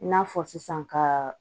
I n'a fɔ sisan ka